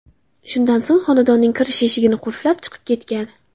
Shundan so‘ng xonadonning kirish eshigini qulflab, chiqib ketgan.